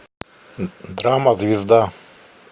драма звезда